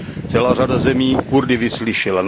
Celá řada zemí Kurdy vyslyšela.